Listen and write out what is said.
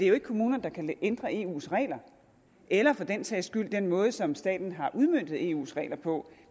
jo ikke kommunerne der kan ændre eus regler eller for den sags skyld den måde som staten har udmøntet eus regler på